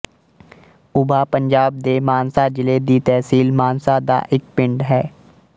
ਉਭਾ ਪੰਜਾਬ ਦੇ ਮਾਨਸਾ ਜ਼ਿਲ੍ਹੇ ਦੀ ਤਹਿਸੀਲ ਮਾਨਸਾ ਦਾ ਇੱਕ ਪਿੰਡ ਹੈ